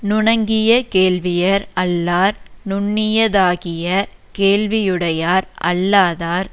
நுணங்கிய கேள்வியர் அல்லார் நுண்ணியதாகிய கேள்வியுடையார் அல்லாதார்